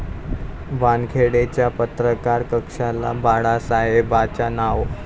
वानखेडे'च्या पत्रकार कक्षाला बाळासाहेबांचं नाव